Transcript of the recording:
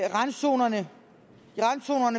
randzonerne